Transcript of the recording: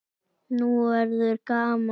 Nú verður gaman!